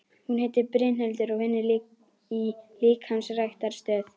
Hún heitir Brynhildur og vinnur í líkamsræktarstöð.